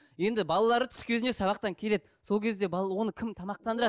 енді балалары түс кезінде сабақтан келеді сол кезде оны кім тамақтандырады